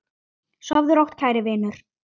Sofðu rótt, kæri vinur.